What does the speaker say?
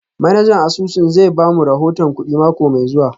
Manajan asusun zai ba mu rahoton kudi mako mai zuwa